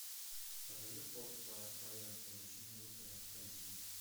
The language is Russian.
покажи форт боярд возвращение ультра эйч ди